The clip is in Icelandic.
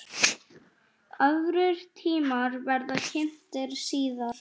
Aðrir tímar verða kynntir síðar.